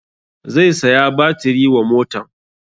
Zai saya batiri wa motan